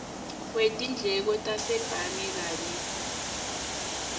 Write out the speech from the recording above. wetindleko tasebhange kanye